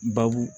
Babu